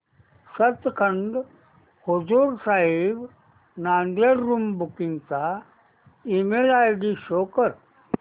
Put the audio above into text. Sachkhand Hazur Sahib Nanded room booking चा email ID show कर